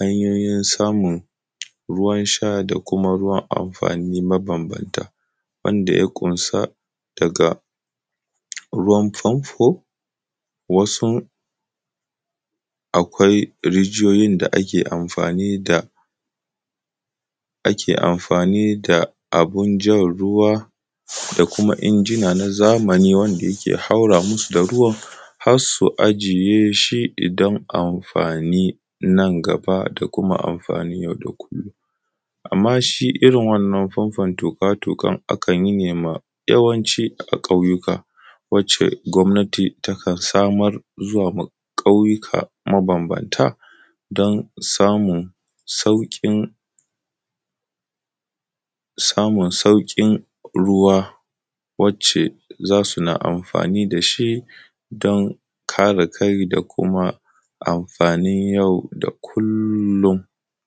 hanyoyin samun ruwan sha da kuma ruwan amfani mabambanta, wanda ya ƙunsa daga ruwan famfo, wasu akwai rijiyoyin da ake amfani da, ake amfani da abin jan ruwa da kuma injina na zamani wanda yake haura musu da ruwan har su ajiye shi idan amfani nan gaba da kuma amfani yau da kullum. Amma shi irin wannan famfon tuƙa-tuƙan akan yi ne ma yawanci a ƙauyuka, wacce gwamnati takan samar zuwa ma ƙauyuka mabambanta don samun sauƙi, samun sauƙin ruwa wacce za suna amfani da shi don kare kai da kuma amfanin yau da kullum.